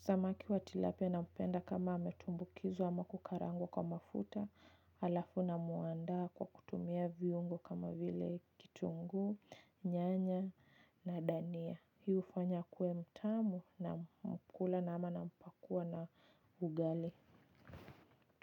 Samaki wa Tilapia naupenda kama ametumbukizwa ama kukarangwa kwa mafuta. Alafu na muandaa kwa kutumia viungu kama vile kitunguu, nyanya na dania. Hii ufanya akue mtamu na mkula nama nampakua na ugali.